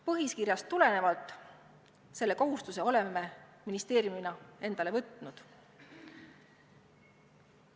Põhikirjast tulenevalt oleme selle kohustuse ministeeriumina endale võtnud.